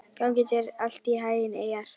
Gangi þér allt í haginn, Eyjar.